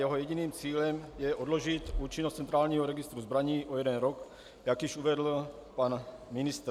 Jeho jediným cílem je odložit účinnost centrálního registru zbraní o jeden rok, jak již uvedl pan ministr.